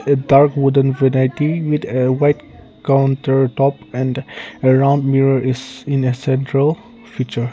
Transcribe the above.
it dark wooden with a white counter top and around mirror is in a central feature.